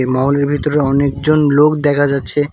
এ মহলের ভিতরে অনেকজন লোক দেখা যাচ্ছে।